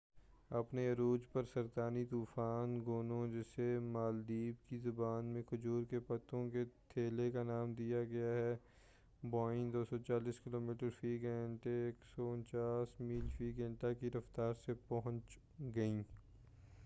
اپنے عروج پر، سرطانی طوفان گونو، جسے مالدیپ کی زبان میں کھجور کے پتوں کے تھیلے کا نام دیا گیا ہے، ہوائیں 240 کلومیٹر فی گھنٹہ 149 میل فی گھنٹہ کی رفتار سے پہنچ گئیں۔